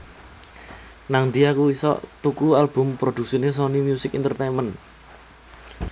Nangdi aku isok tuku album produksine Sony Music Entertainment?